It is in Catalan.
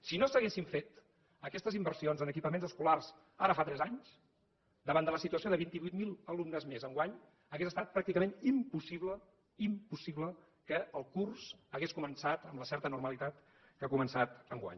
si no s’haguessin fet aquestes inversions en equipaments escolars ara fa tres anys davant de la situació de vint vuit mil alumnes més enguany hauria estat pràcticament impossible impossible que el curs hagués començat amb la certa normalitat que ha començat enguany